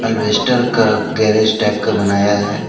अल्वेस्टर का garage type का बनाया है।